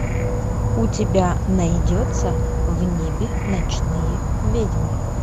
у тебя найдется в небе ночные ведьмы